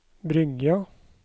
Bryggja